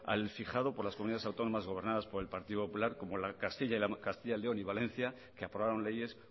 al fijado por las comunidades autónomas gobernadas por el partido popular como castilla león y valencia que aprobaron leyes